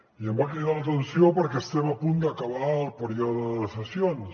i em va cridar l’atenció perquè estem a punt d’acabar el període de sessions